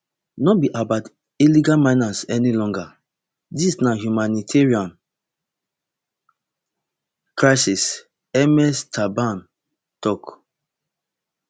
no be about illegal miners any longer dis na humanitarian crisis ms thabane tok